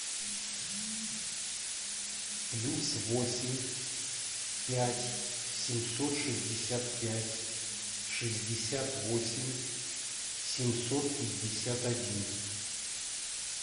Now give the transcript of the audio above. плюс восемь пять семьсот шестьдесят пять шестьдесят восемь семьсот пятьдесят один